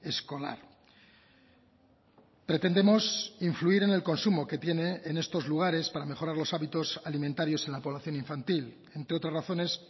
escolar pretendemos influir en el consumo que tiene en estos lugares para mejorar los hábitos alimentarios en la población infantil entre otras razones